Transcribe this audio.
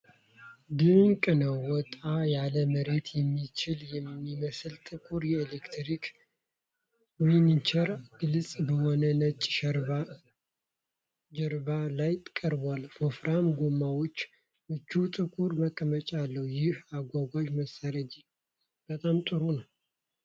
ድንቅ ነው! ወጣ ያለ መሬት የሚችል የሚመስል ጥቁር የኤሌክትሪክ ዊልቸር ግልጽ በሆነ ነጭ ጀርባ ላይ ቀርቧል። ወፍራም ጎማዎችና ምቹ ጥቁር መቀመጫ አለው። ይህ አጋዥ መሳሪያ እጅግ በጣም ጥሩ ነው።